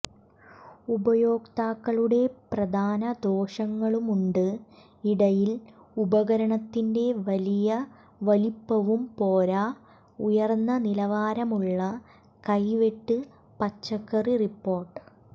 ഉപയോക്താക്കളുടെ പ്രധാന ദോഷങ്ങളുമുണ്ട് ഇടയിൽ ഉപകരണത്തിന്റെ വലിയ വലിപ്പവും പോരാ ഉയർന്ന നിലവാരമുള്ള കൈവെട്ട് പച്ചക്കറി റിപ്പോർട്ട്